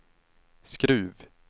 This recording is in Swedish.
Skruv